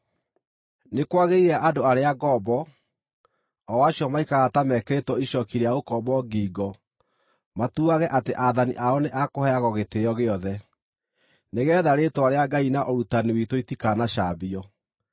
Nĩ kwagĩrĩire andũ arĩa ngombo, o acio maikaraga ta mekĩrĩtwo icooki rĩa ũkombo ngingo matuage atĩ aathani ao nĩ a kũheagwo gĩtĩĩo gĩothe, nĩgeetha rĩĩtwa rĩa Ngai na ũrutani witũ itikanacambio.